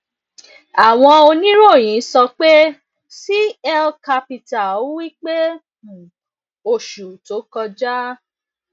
awon oniroyin so pe cl capital wi pe um oṣù tó kọjá